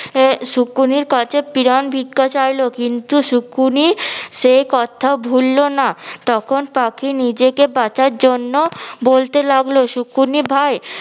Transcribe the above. আহ শুকনির কাছে প্রাণ ভিক্ষা চাইলো কিন্তু সুকুনি সেই কথা ভুললো না. তখন পাকি নিজেকে বাঁচার জন্য বলতে লাগল- সুকুনি ভাই